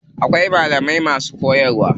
Akwai malamai masu koyarwa.